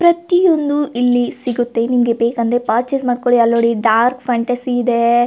ಪ್ರತಿಯೊಂದು ಇಲ್ಲಿ ಸಿಗುತ್ತೆ ನಿಮ್ಮಗೆ ಬೇಕಂದ್ರೆ ಪರ್ಚೆಸ್ ಮಾಡಕೊಳ್ಳಿ ಅಲ್ಲ ನೋಡಿ ಡಾರ್ಕ್ ಫ್ಯಾಂಟಸಿ ಇದೆ.